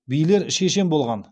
билер шешен болған